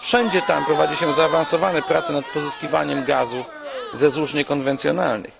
Wszędzie tam prowadzi się zaawansowane prace nad pozyskiwaniem gazu ze złóż niekonwencjonalnych.